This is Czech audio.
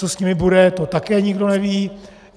Co s nimi bude, to také nikdo neví.